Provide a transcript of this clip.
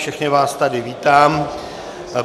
Všechny vás tady vítám.